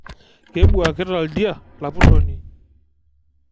Kebuaakita ldia lapuroni